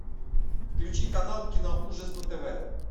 включи канал киноужас на тв